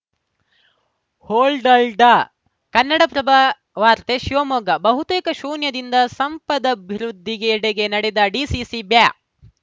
ಹೋಲ್ಡಲ್ಡ್‌ ಕನ್ನಡಪ್ರಭವಾರ್ತೆ ಶಿವಮೊಗ್ಗ ಬಹುತೇಕ ಶೂನ್ಯದಿಂದ ಸಂಪದಭಿವೃದ್ಧಿಯೆಡೆಗೆ ನಡೆದ ಡಿಸಿಸಿ ಬ್ಯಾ